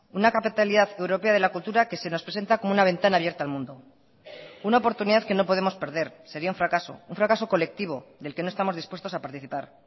una capitalidad europea de la cultura que se nos presenta como una ventana abierta al mundo una oportunidad que no podemos perder sería un fracaso un fracaso colectivo del que no estamos dispuestos a participar